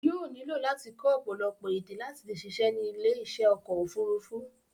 Yóò nílò láti kọ́ ọ̀pọ̀lọpọ̀ èdè láti le ṣiṣẹ́ ní ilé iṣẹ́ ọkọ̀ òfurufú.